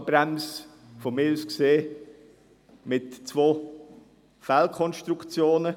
Die Ausgabenbremse enthält aus meiner Sicht zwei Fehlkonstruktionen.